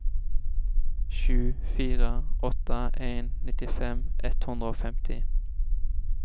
sju fire åtte en nittifem ett hundre og femti